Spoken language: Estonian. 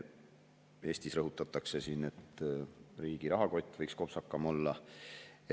Eestis rõhutatakse, et riigi rahakott võiks kopsakam olla.